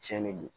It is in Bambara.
Cɛn de don